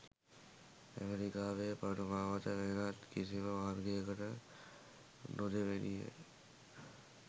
ඇමෙරිකාවේ පටු මාවත වෙනත් කිසිම මාර්ගයකට නොදෙවෙනිය.